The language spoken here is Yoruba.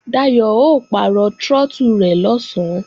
Dayò ó pàrọ̀ trọ́tù rẹ̀ lọ̀sán